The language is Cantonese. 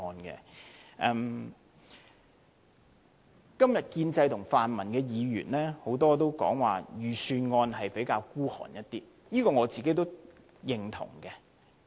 今天多位建制派和泛民的議員都說這份預算案較為吝嗇，我也認同這點。